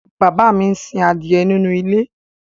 bàbá mi sin adìyẹ nínú ilé